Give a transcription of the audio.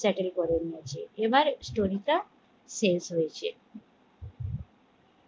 settle করে নিয়েছে এবার story টা শেষ হয়েছে।